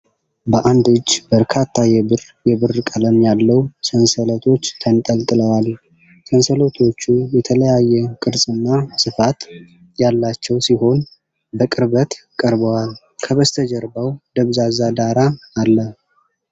በአንድ እጅ በርካታ የብር (የብር ቀለም ያለው) ሰንሰለቶች ተንጠልጥለዋል። ሰንሰለቶቹ የተለያየ ቅርጽና ስፋት ያላቸው ሲሆን በቅርበት ቀርበዋል፣ ከበስተጀርባው ደብዛዛ ዳራ አለ።